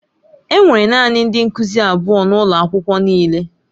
Enwere naanị ndị nkuzi abụọ n'ụlọ akwụkwọ niile.